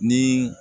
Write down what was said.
Ni